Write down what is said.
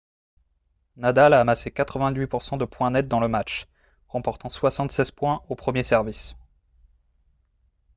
nadal a amassé 88 % de points nets dans le match remportant 76 points au premier service